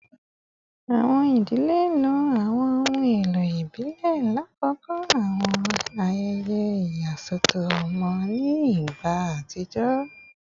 Awọn idile lo awọn ohun elo ibile lakoko awọn ayẹyẹ iyasọtọ ọmọ ni igba atijọ